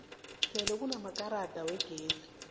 sele kunamaelrada wegezi